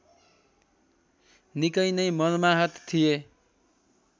निकै नै मर्माहत थिए